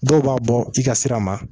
Dɔw b'a bɔ i ka sira ma